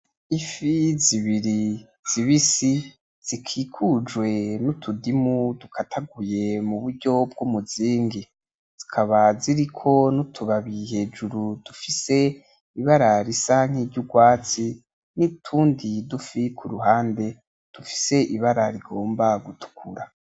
Ifi zibiri zibisi zikikujwe nutudimu dukataguye muburyo bwumuzingi zikaba ziriko nutubabi hejuru dufis ibara risa nkiryurwatsi, nutundi dufi kuruhande dufise ibara rigomba gutukura.